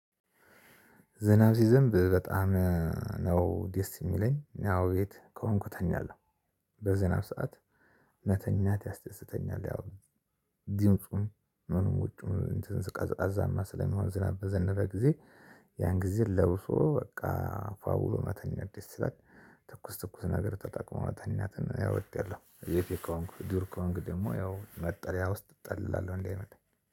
ዝናብ ሲዘንብ በጣም ነው ደስ የሚለኝ አዎ ቤት ከሆንኩ እተኛለሁ በዝናብ ሰዓት መተኛት ያስደስተኛል። ያው ድምፁም ምኑም ውጭው እንትን ቀዝቃዛማ ስለሚሆን ዝናብ በዘነበ ጊዜ። ያን ጊዜ ለብሶ በቃ ፋ ብሎ መተኛት ደስ ይላል። ትኩስ ትኩስ ነገር ተጠቅሞ መተኛት እወደዋለሁ። የፊ ከሆንኩ ዱር ከሆንኩ ደግሞ ያው መጠለያ ውስጥ እጠለላለሁ እንዳይመታኝ